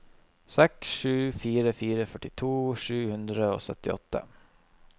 seks sju fire fire førtito sju hundre og syttiåtte